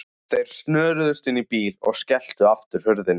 Þeir snöruðust inn í bílinn og skelltu aftur hurðunum.